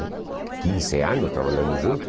quinze anos trabalhando junto.